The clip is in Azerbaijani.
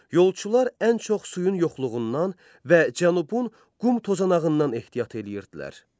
Yolçular ən çox suyun yoxluğundan və cənubun qum tozanağından ehtiyat eləyirdilər.